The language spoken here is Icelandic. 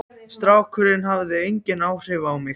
Strákurinn hafði engin áhrif á mig.